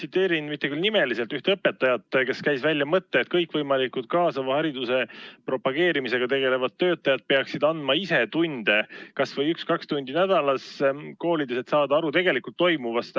Viitan, mitte küll nimeliselt, ühele õpetajale, kes käis välja mõtte, et kõikvõimalikud kaasava hariduse propageerimisega tegelevad töötajad peaksid andma ise koolis tunde, kas või üks-kaks tundi nädalas, et saada aru tegelikult toimuvast.